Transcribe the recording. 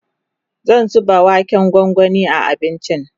zan zuba waken gwangwani a abincin